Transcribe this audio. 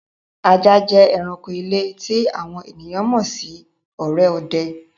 Àjà jẹ́ èránkò ilẹ̀ tó àwọn ènìyàn mọ́ sì òré òdẹ́.